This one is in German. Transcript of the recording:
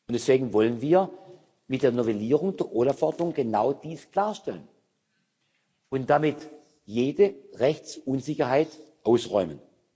Deswegen wollen wir mit der Novellierung der OLAF Verordnung genau dies klarstellen und damit jede Rechtsunsicherheit ausräumen.